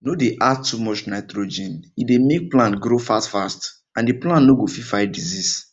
no dey add too much nitrogen e dey make plant grow fastfast and the plant no go fit fight disease